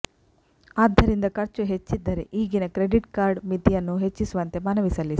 ಆದ್ದರಿಂದ ಖರ್ಚು ಹೆಚ್ಚಿದ್ದರೆ ಈಗಿನ ಕ್ರೆಡಿಟ್ ಕಾರ್ಡ್ ಮಿತಿಯನ್ನು ಹೆಚ್ಚಿಸುವಂತೆ ಮನವಿ ಸಲ್ಲಿಸಿ